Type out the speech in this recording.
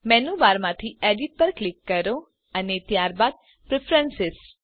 menu બારમાંથી edit પર click કરો અને ત્યારબાદ પ્રેફરન્સ